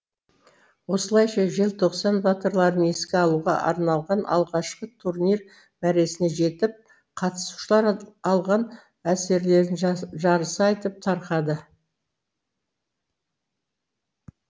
осылайша желтоқсан батырларын еске алуға арналған алғашқы турнир мәресіне жетіп қатысушалар алған әсерлерін жарыса айтып тарқады